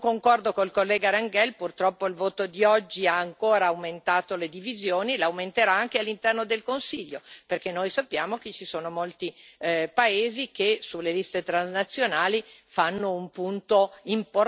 Purtroppo il voto di oggi ha ancora aumentato le divisioni e le aumenterà anche all'interno del Consiglio, perché noi sappiamo che ci sono molti paesi che sulle liste transnazionali fanno un punto importante della loro azione politica.